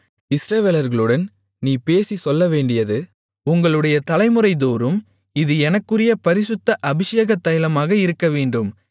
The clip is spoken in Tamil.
இஸ்ரவேலர்களுடன் நீ பேசிச் சொல்லவேண்டியது உங்களுடைய தலைமுறைதோறும் இது எனக்குரிய பரிசுத்த அபிஷேகத் தைலமாக இருக்கவேண்டும்